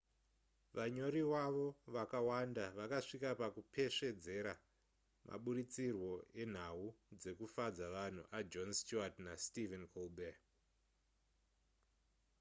vanyori wavo vakawanda vakasvika pakupesvedzera maburitsirwo enhau dzekufadza vanhu ajon stewart nastephen colbert